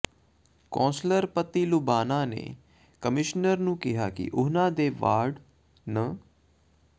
councillor ਪਤੀ ਲੁਬਾਣਾ ਨੇ commissioner ਨੂੰ ਕਿਹਾ ਕਿ ਉਨ੍ਹਾਂ ਦੇ ਵਾਰਡ ਨੰ